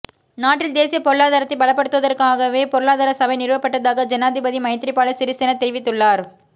நாட்டின் தேசிய பொருளாதாரத்தைப் பலப்படுத்துவதற்காகவே பொருளாதார சபை நிறுவப்பட்டதாக ஜனாதிபதி மைத்ரிபால சிறிசேன தெரிவித்துள்ளார்